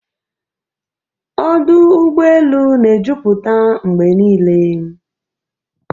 Ọdụ ụgbọ elu na-ejupụta mgbe niile.